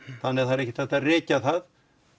þannig að það er ekkert hægt að rekja það